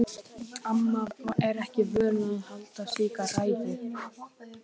Amma er ekki vön að halda slíka ræðu.